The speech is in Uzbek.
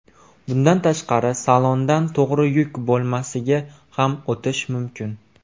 Bundan tashqari, salondan to‘g‘ri yuk bo‘lmasiga ham o‘tish mumkin.